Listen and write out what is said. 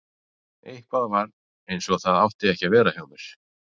Eitthvað var ekki eins og það átti að vera hjá mér.